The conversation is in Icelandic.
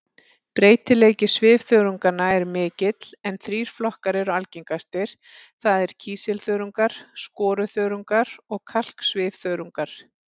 Breytileiki svifþörunganna er mikill en þrír flokkar eru algengastir, það er kísilþörungar, skoruþörungar og kalksvifþörungar.